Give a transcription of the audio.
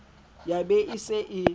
ya be e se e